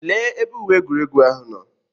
Lee ebe uwe egwuregwu ahụ nọ.